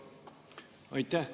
Aitäh!